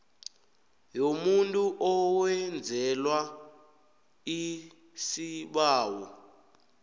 yomuntu owenzelwa isibawo